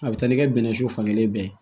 A bɛ taa ni kɛ bɛnɛ su fan kelen bɛɛ ye